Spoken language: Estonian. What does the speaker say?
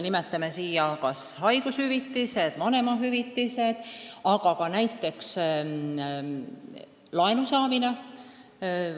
Nimetan kas või haigushüvitisi, vanemahüvitisi, aga ka näiteks laenu saamist.